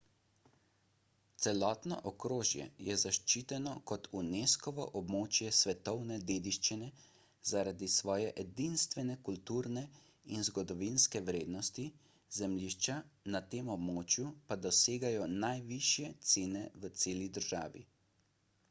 celotno okrožje je zaščiteno kot unescovo območje svetovne dediščine zaradi svoje edinstvene kulturne in zgodovinske vrednosti zemljišča na tem območju pa dosegajo najvišje cene v celi državi